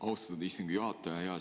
Austatud istungi juhataja!